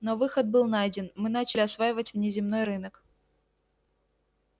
но выход был найден мы начали осваивать внеземной рынок